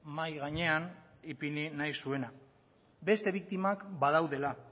mahai gainean ipini nahi zuena beste biktimak badaudela